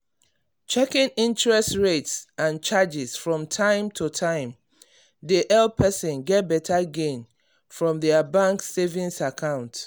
checking interest rates and charges from time to time dey help person get better gain from their bank savings account.